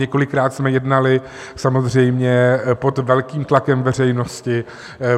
Několikrát jsme jednali samozřejmě pod velkým tlakem veřejnosti.